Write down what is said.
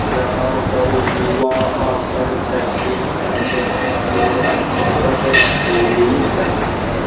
जहां पर युवा आकर प्रैक्टिस करते हैं और अपनी मसल्स को गेन करते हैं।